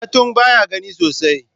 Katung baya gani sosai.